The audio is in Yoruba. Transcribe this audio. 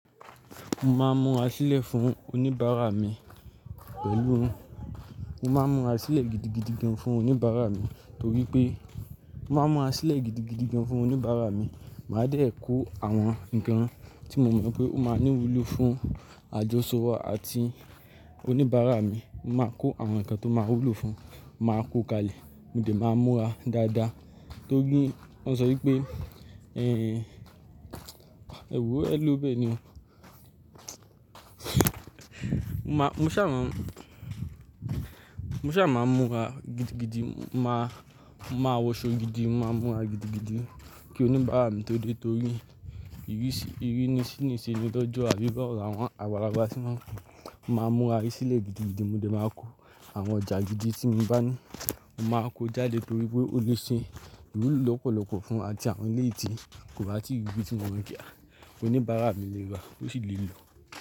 Mo máa ń múra sílẹ̀ fún oníbàárà mi pẹ̀lú, mo máa ń múra sílẹ̀ gidigidi gan fún oníbàárà mi torí pé, mo máa ń múra sílẹ̀ gidigidi gan fún oníbàárà mi. Màá dé kò àwọn nǹkan tí mo mọ̀ pé ó máa ní wúlò fún àjọṣọ wa àti oníbàárà mi. Mo máa kó àwọn nǹkan tó máa wúlò fún, màá kó kalẹ̀ mo dẹ̀ máa ń múra dáadáa torí wọ́n sọ wípé ẹ, ẹwo ẹ ló bẹ ni. Mo má, mo ṣá má, mo ṣá máa ń múra gidigidi, màá, màá wọṣọ gidi, màá múra gidigidi kí oníbàárà mi tó dé torí ìrísí, ìrínisí ni ise ni lọ́jọ́ àbí bawo lawon. Àwọn agbalagba tí maa n pe, mo máa ń múra sílẹ̀ gidigidi mo dẹ̀ máa kó àwọn ọjà gidi tí mo bá ní, mo máa kó jáde torí pé ó lè ṣe iwúlò lọ́pọ̀lọpọ̀ fún àti àwọn eleyii tíi, kò ba tí riri tí wo pe, à oníbàárà mi lè ra, ó sì lè lò.